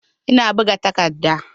Ina buga takardar.